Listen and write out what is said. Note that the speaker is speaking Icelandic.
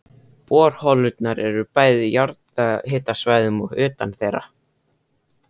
Borholurnar eru bæði á jarðhitasvæðum og utan þeirra.